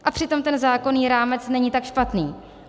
A přitom ten zákonný rámec není tak špatný.